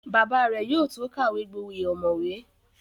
Bàbá rẹ̀ yóò tó kàwé gboyè ọ̀mọ̀wé